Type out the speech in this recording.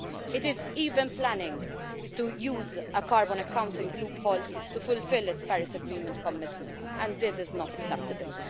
It is even planning to use a carbon accounting loophole to fulfil its Paris Agreement commitments and this is not acceptable.